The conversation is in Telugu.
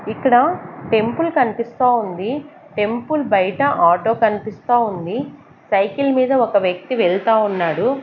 ఇక్కడ టెంపుల్ కన్పిస్తావుంది టెంపుల్ బైట ఆటో కన్పిస్తావుంది సైకిల్ మీద ఒక వ్యక్తి వెళ్తా ఉన్నాడు.